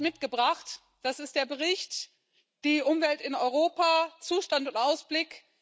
Ich habe hier etwas mitgebracht Das ist der Bericht Die Umwelt in Europa Zustand und Ausblick.